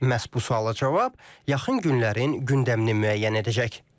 Məhz bu suala cavab yaxın günlərin gündəmini müəyyən edəcək.